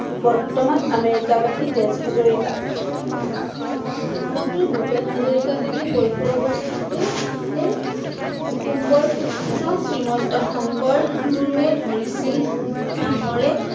বৰ্তমান আমেৰিকাবাসী তেজ হাজৰিকা। ডক্টৰ ভূপেন হাজৰিকাদেৱে কৈশোৰ অৱস্থাতেই কুসুম্বৰ পুত্ৰ শ্ৰীমন্ত শংকৰ গুৰুৱে ধৰিছিল নামৰে